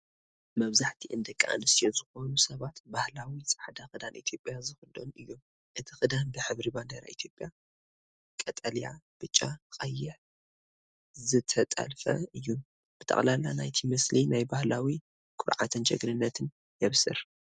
መብዛሕትአን ደቂ ኣንስትዮ ዝኾኑ ሰባት ባህላዊ ጻዕዳ ክዳን ኢትዮጵያ ዝኽደኑ እዮም። እቲ ክዳን ብሕብሪ ባንዴራ ኢትዮጵያ (ቀጠልያ፣ ብጫ፣ ቀይሕ) ዝተጠልፈ እዩ። ብጠቕላላ ናይቲ ምስሊ ናይ ባህላዊ ኩርዓትን ጅግንነትን የብስር።